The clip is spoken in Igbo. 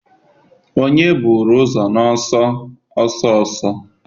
onye buru ụzọ n'ọsọ ọsọ ọsọ?